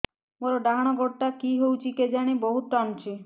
ମୋର୍ ଡାହାଣ୍ ଗୋଡ଼ଟା କି ହଉଚି କେଜାଣେ ବହୁତ୍ ଟାଣୁଛି